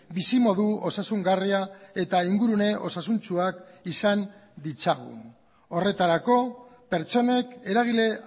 bizimodu osasungarria eta ingurune osasuntsuak izan ditzagun horretarako pertsonek eragile